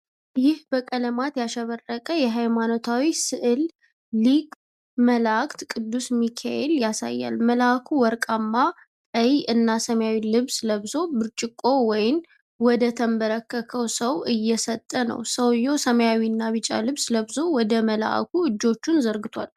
ይህ በቀለማት ያሸበረቀ የሃይማኖታዊ ስዕል ሊቀ መላእክት ቅዱስ ሚካኤልን ያሳያል። መልአኩ ወርቃማ፣ ቀይ እና ሰማያዊ ልብስ ለብሶ ብርጭቆ ወይን ወደተንበረከከው ሰው እየሰጠ ነው። ሰውዬው ሰማያዊና ቢጫ ልብስ ለብሶ ወደ መልአኩ እጆቹን ዘርግቷል።